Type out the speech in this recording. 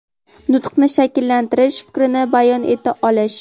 Nutqini shakllantirish, fikrini bayon eta olish.